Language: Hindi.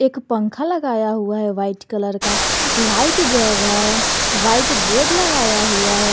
एक पंखा लगाया हुआ है वाइट कलर का लाइट जल रहा है व्हाइट बोर्ड लगाया हुआ है।